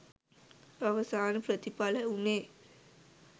අවසාන ප්‍රතිඵලය වූණේ